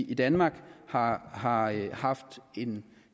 i danmark har har haft